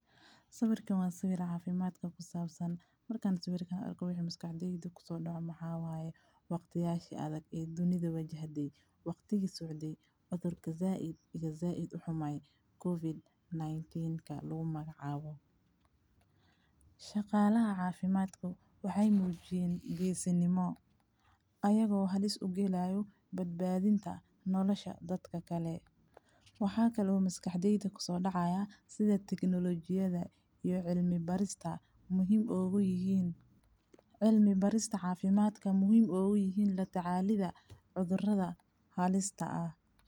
Sawirkan wa sawir cafimadka kusabsan marka sawirkan arko waxa maskaxdeyda waqtiyasha adhaag ee dunida wajahde waqtiga socday cudurka zaid ixumay covid nineteen lugumacawo. Shaqalaha cafimad wexey mujiyen gesinimo ayago halis ugalayo badbadinta nolosha dadka kale waxa kalo maskaxdeyda kusodacay sida teknolojiyada iyo cilmi barista muhiim oguyihin latacalida cudurada halista ah.